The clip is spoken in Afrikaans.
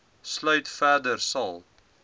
sluit verder sal